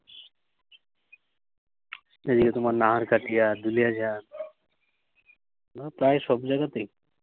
এদিকে তোমার নাহারকাটিয়া, দুলিয়াজা, প্রায় সব জাগাতেই।